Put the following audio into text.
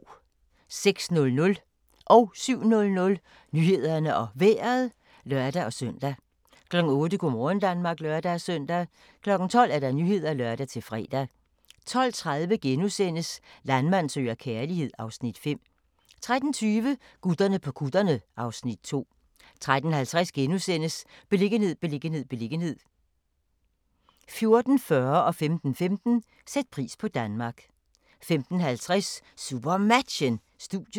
06:00: Nyhederne og Vejret (lør-søn) 07:00: Nyhederne og Vejret (lør-søn) 08:00: Go' morgen Danmark (lør-søn) 12:00: Nyhederne (lør-fre) 12:30: Landmand søger kærlighed (Afs. 5)* 13:20: Gutterne på kutterne (Afs. 2) 13:50: Beliggenhed, beliggenhed, beliggenhed * 14:40: Sæt pris på Danmark 15:15: Sæt pris på Danmark 15:50: SuperMatchen: Studiet